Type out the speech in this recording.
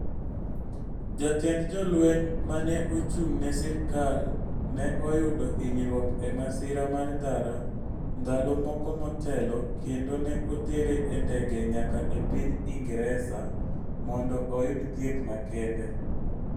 Jatend jolweny ma ne ochung' ne sirkal ne oyudo hinyruok e masira mar ndara ndalo moko motelo kendo ne otere e ndege nyaka e piny Ingresa mondo oyud thieth makende.